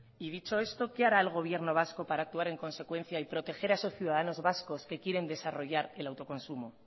y dicho esto qué hará el gobierno vasco para actuar en consecuencia y proteger a esos ciudadanos vascos que quieren desarrollar el autoconsumo